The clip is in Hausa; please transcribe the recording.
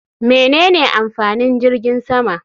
Menene amfanin jirgin sama?